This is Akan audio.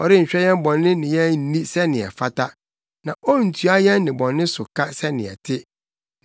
Ɔnhwɛ yɛn bɔne ne yɛn nni sɛnea ɛfata na ontua yɛn nnebɔne so ka sɛnea ɛte.